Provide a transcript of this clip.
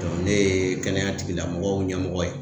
ne ye kɛnɛya tigilamɔgɔw ɲɛmɔgɔ ye.